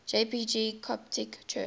jpg coptic church